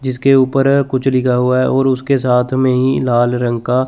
जिसके ऊपर कुछ लिखा हुआ है और उसके साथ में ही लाल रंग का--